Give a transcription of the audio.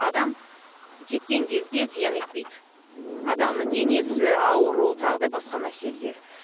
адам кеткен кезде зиян етпейді мхм адамның денесі ауру тағы да басқа мәселелері